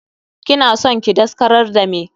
Kina son ki daskarar da meh?